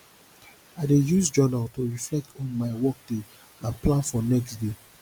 i dey use journal to reflect on my workday and plan for next day